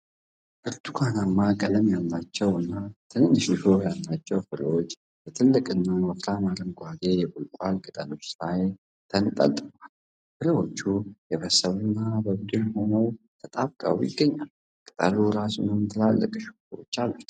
ብርቱካንማ ቀለም ያላቸው እና ትንሽ እሾህ ያላቸው ፍሬዎች በትልልቅና ወፍራም አረንጓዴ የቆልቋል ቅጠሎች ላይ ተንጠልጥለዋል። ፍሬዎቹ የበሰሉ እና በቡድን ሆነው ተጣብቀው ይገኛሉ፤ ቅጠሉ እራሱም ትላልቅ እሾሆች አሉት።